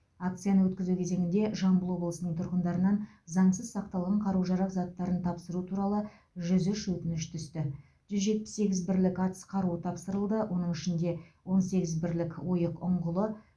акцияны өткізу кезеңінде жамбыл облысының тұрғындарынан заңсыз сақталған қару жарақ заттарын тапсыру туралы жүз үш өтініш түсті жүз жетпіс сегіз бірлік атыс қаруы тапсырылды оның ішінде он сегіз бірлік ойық ұңғылы